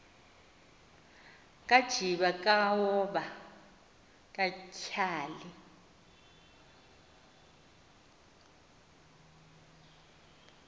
kajiba kaoba katyhali